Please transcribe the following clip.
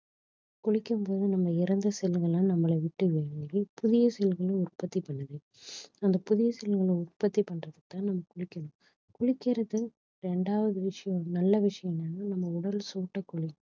குளிக்கும்போது நம்ம இறந்த cell கள்லாம் நம்மள விட்டு வெளியேரி புதிய cell கள உற்பத்தி பண்ணுது அந்த புதிய cell கள உற்பத்தி பண்றதுக்கு தான் நம்ம குளிக்கணும் குளிக்கிறது ரெண்டாவது விஷயம் நல்ல விஷயம் என்னன்னா நம் உடல் சூட்டை குறை~